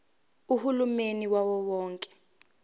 uhulumeni wawo wonke